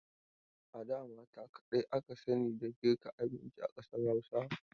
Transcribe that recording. A da mata kadai aka sani da girka abin a ƙasar Hausa..